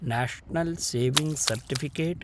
national saving certificate